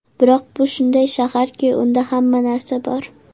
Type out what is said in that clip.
Biroq bu shunday shaharki, unda hamma narsa bor!